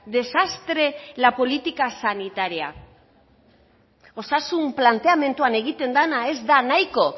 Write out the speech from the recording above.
desastre la política sanitaria osasun planteamenduan egiten dena ez da nahiko